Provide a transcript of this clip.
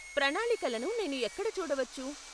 ప్రణాళికలను నేను ఎక్కడ చూడవచ్చు?